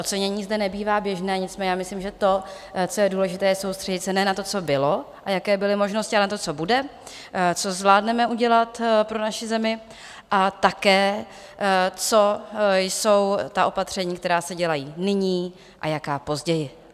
Ocenění zde nebývá běžné, nicméně já myslím, že to, co je důležité, je soustředit se ne na to, co bylo a jaké byly možnosti, ale na to, co bude, co zvládneme udělat pro naši zemi, a také, co jsou ta opatření, která se dělají nyní a jaká později.